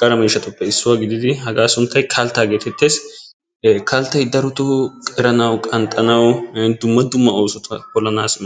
qara miishshattuppe issuwa gididi hagaa sunttay kalttaa geetetes. kalttay daroto qeranawu, qanxxanawunne dumma dumma oosota polanaassi maaddes.